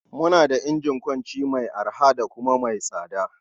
Muna da injin wanki mai arha da kuma mai tsada.